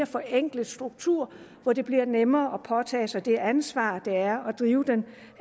forenklet struktur hvor det bliver nemmere at påtage sig det ansvar det er at drive den